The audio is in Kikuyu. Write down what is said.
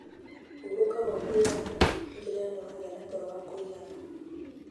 Hurũka gwa kũigana: Tigĩrĩra nĩ wagĩa na toro wa kũigana